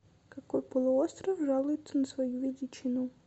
какой полуостров жалуется на свою величину